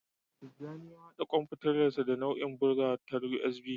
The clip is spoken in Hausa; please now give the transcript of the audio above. Tijjani ya haɗa kwamfutarsa da na'urar bugawa ta USB.